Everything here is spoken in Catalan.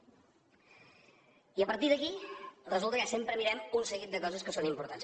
i a partir d’aquí resulta que ja sempre mirem un seguit de coses que són importants